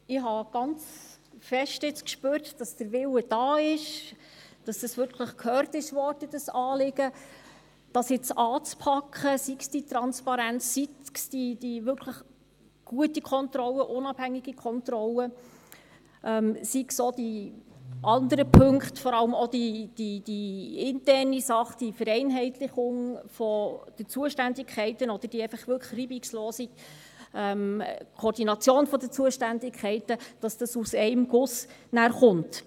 Ich habe jetzt ganz fest gespürt, dass dieses Anliegen wirklich gehört wurde und der Wille da ist, es jetzt anzupacken, sei es die Transparenz, sei es die wirklich gute unabhängige Kontrolle, seien es auch die anderen Punkte, vor allem auch interne Dinge, die Vereinheitlichung der Zuständigkeiten oder die einfach wirklich reibungslose Koordination der Zuständigkeiten, damit es nachher aus einem Guss kommt.